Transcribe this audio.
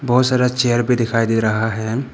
बहुत सारा चेयर भी दिखाई दे रहा है।